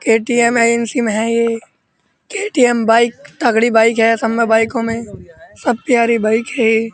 KTM agency में है ये केटीएम बाइक तगड़ी बाइक है। सब में बाइको में सब प्यारी बाइक है।